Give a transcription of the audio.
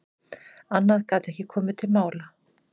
Annað gat ekki komið til mála.